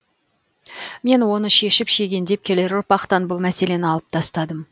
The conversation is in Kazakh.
мен оны шешіп шегендеп келер ұрпақтан бұл мәселені алып тастадым